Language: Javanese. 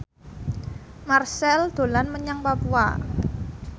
Marchell dolan menyang Papua